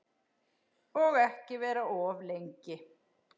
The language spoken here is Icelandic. Og ekki vera of lengi.